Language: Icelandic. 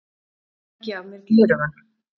Tæki af mér gleraugun.